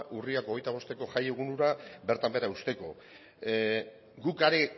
urriak hogeita bosteko jai egun hura bertan behera uzteko guk